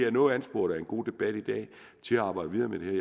er noget ansporet af en god debat i dag til at arbejde videre med det